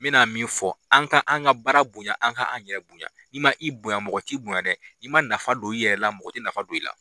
N bɛ na min fɔ an ka an ka baara bonya an ka an yɛrɛ bonya i ma i bonya mɔgɔ t'i bonya dɛ i ma nafa don i yɛrɛ la mɔgɔ tɛ nafa don i la.